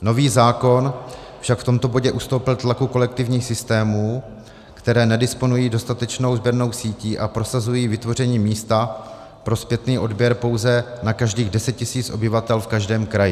Nový zákon však v tomto bodě ustoupil tlaku kolektivních systémů, které nedisponují dostatečnou sběrnou sítí a prosazují vytvoření místa pro zpětný odběr pouze na každých 10 tisíc obyvatel v každém kraji.